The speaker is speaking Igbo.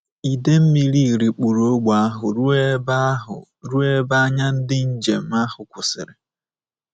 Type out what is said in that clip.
Ide mmiri rikpuru ógbè ahụ ruo ebe ahụ ruo ebe anya ndị njem ahụ kwụsịrị.